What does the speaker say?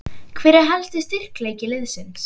Hver er helsti styrkleiki liðsins?